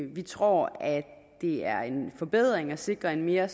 vi tror at det er en forbedring at sikre en mere